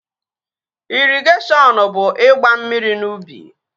Ịrịgashiọn ọn bụ ịgba mmiri n'ubi